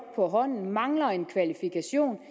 på hånden men mangler en kvalifikation